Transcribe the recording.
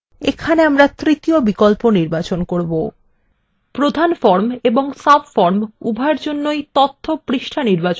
এখানে আমরা তৃতীয় বিকল্প নির্বাচন করবো প্রধান form এবং subform উভয়ের জন্যই তথ্য পৃষ্ঠা নির্বাচন করা হল